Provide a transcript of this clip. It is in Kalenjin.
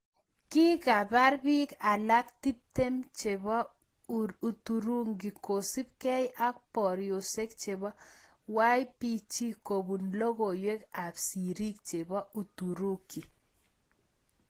Kakipaar piik alaak tiptem chepoo uturuki kosuup gei ak poriosiek chepo YPG kobuun logoiwek ap sirik chepo uturuki